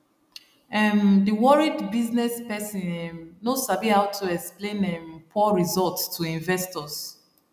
um the worried business person um no sabi how to explain um poor results to investors